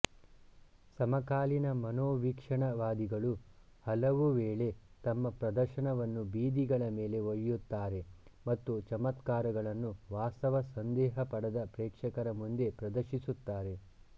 ಸಮಕಾಲೀನ ಮನೋವೀಕ್ಷಣವಾದಿಗಳು ಹಲವುವೇಳೆ ತಮ್ಮ ಪ್ರದರ್ಶನವನ್ನು ಬೀದಿಗಳ ಮೇಲೆ ಒಯ್ಯುತ್ತಾರೆ ಮತ್ತು ಚಮತ್ಕಾರಗಳನ್ನು ವಾಸ್ತವ ಸಂದೇಹಪಡದ ಪ್ರೇಕ್ಷಕರ ಮುಂದೆ ಪ್ರದರ್ಶಿಸುತ್ತಾರೆ